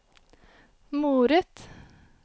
moret